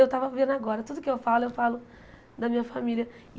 Eu tava vendo agora, tudo que eu falo, eu falo da minha família.